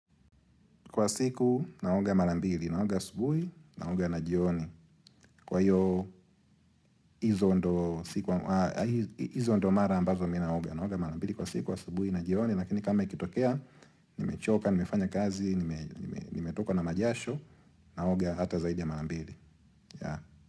Kwa siku naoga marambili, naoga asubuhi, naoga na jioni. Kwa hiyo hizo ndiyo mara ambazo mimi ninaoga, naoga marambili kwa siku asubuhi, na jioni. Lakini kama ikitokea, nimechoka, nimefanya kazi, nimetoka na majasho, naoga hata zaidi ya marambili.